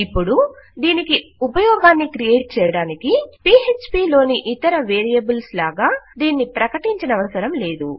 ఇపుడు దీనికి ఉపయోగాన్ని క్రియేట్ చేయడానికి పీఎచ్పీ లోని ఇతర వేరియబుల్స్ లాగా దీనిని ప్రకటించనవసరం లేదు